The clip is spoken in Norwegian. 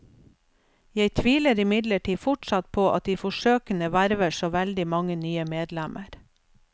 Jeg tviler imidlertid fortsatt på at de forsøkene verver så veldig mange nye medlemmer.